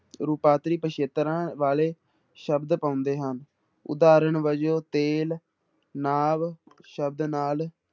ਰੂਪਾਂਤਰੀ ਪਿੱਛੇਤਰਾਂ ਵਾਲੇ ਸ਼ਬਦ ਪਾਉਂਦੇ ਹਨ, ਉਦਾਹਰਨ ਵਜੋਂ ਤੇਲ ਨਾਵ ਸ਼ਬਦ ਨਾਲ